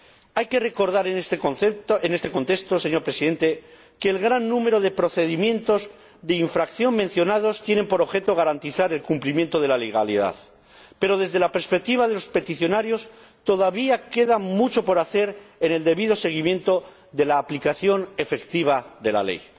Hay que recordar en este contexto, señor Presidente, que el gran número de procedimientos de infracción mencionados tiene por objeto garantizar el cumplimiento de la legalidad, pero, desde la perspectiva de los peticionarios, todavía queda mucho por hacer en el debido seguimiento de la aplicación efectiva de la ley.